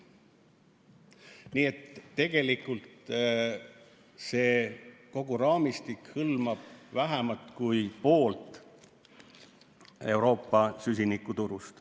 Nii et tegelikult kogu see raamistik hõlmab vähemat kui poolt Euroopa süsinikuturust.